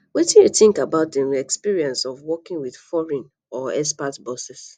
wetin you think about di um experience of working with foreign or expat bosses